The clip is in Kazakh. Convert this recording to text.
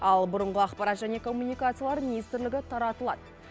ал бұрынғы ақпарат және коммуникациялар министрлігі таратылады